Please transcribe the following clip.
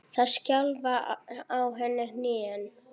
Það skjálfa á henni hnén.